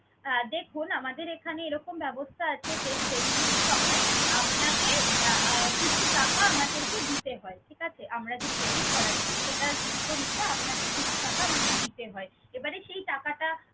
আহ দেখুন আমাদের এখানে এরকম ব্যবস্থা আছে যে training এর সময় আপনাকে আহ কিছু টাকা আমাদেরকে দিতে হয়। ঠিক আছে? আমরা যে training করাচ্ছি সেটার বিপরীতে আপনাকে কিছু টাকা আমাদের দিতে হয়। এবারে সেই টাকাটা